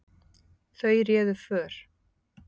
Þau réðu för.